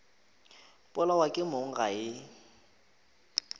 polawa ke mong ga e